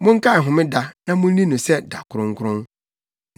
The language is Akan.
Monkae homeda na munni no sɛ da kronkron.